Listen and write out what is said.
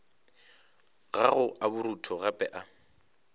gago a borutho gape a